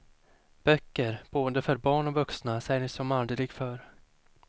Böcker, både för barn och vuxna säljs som aldrig förr.